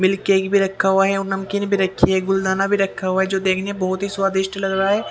Milk cake भी रखा हुआ है और नमकीन भी रखी है गुलदाना भी रखा हुआ है जो देखने बहुत ही स्वादिष्ट लग रहा है।